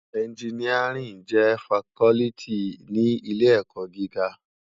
Ènjìníárìn jè fákòlìtí ni ilé èkò gigá